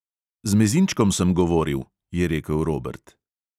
"Z mezinčkom sem govoril," je rekel robert.